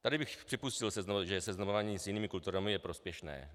Tady bych připustil, že seznamování s jinými kulturami je prospěšné.